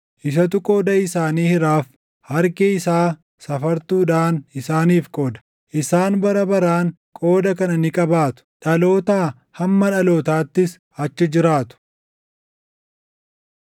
Isatu qooda isaanii hiraaf; harki isaa safartuudhaan isaaniif qooda. Isaan bara baraan qooda kana ni qabaatu; dhalootaa hamma dhalootaattis achi jiraatu.